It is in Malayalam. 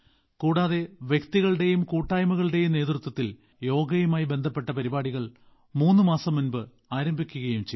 കൂടാതെ വ്യക്തികളുടെയും കൂട്ടായ്മകളുടെയും നേതൃത്വത്തിൽ യോഗയുമായി ബന്ധപ്പെട്ട പരിപാടികൾ മൂന്ന് മാസം മുമ്പ് ആരംഭിക്കുകയും ചെയ്തു